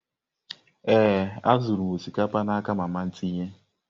Ee, azụrụ m osikapa n'aka mama tinye.